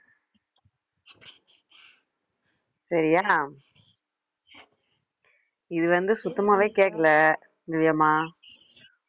சரியா இது வந்து சுத்தமாவே கேட்கலை திவ்யாம்மா